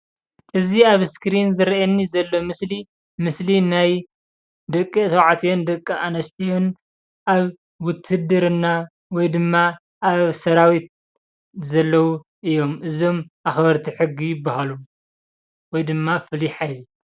እዚ ኣብ እስክሪን ዝርኣየኒ ዘሎ ምስሊ ምስሊ ናይ ደቂ ተባዕትዮን ደቂ ኣንስትዮን ኣብ ዉትድርና ወይ ድማ ኣብ ሰራዊት ዘለዉ እዮም፡፡ እዞም ኣኽበርቲ ሕጊ ይበሃሉ ወይ ድማ ፍሉይ ሓይሊ።